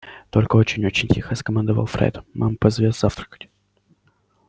только очень очень тихо скомандовал фред мама позовёт завтракать